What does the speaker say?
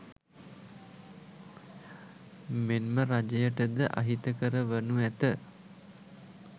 මෙන්ම රජයට ද අහිතකර වනු ඇත.